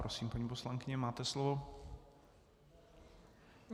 Prosím, paní poslankyně, máte slovo.